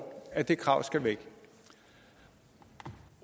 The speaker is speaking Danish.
at det krav skal væk